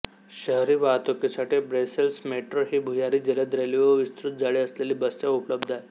शहरी वाहतूकीसाठी Brussels metro ही भुयारी जलद रेल्वे व विस्तृत जाळे असलेली बससेवा उपलब्ध आहे